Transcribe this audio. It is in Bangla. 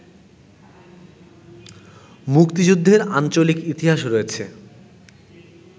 মুক্তিযুদ্ধের আঞ্চলিক ইতিহাসে রয়েছে